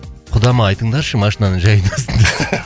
құдама айтыңдаршы машинаны жай айдасын